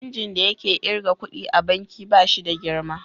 Injin da yake kirga ƙuɗi a banki ba shi da girma.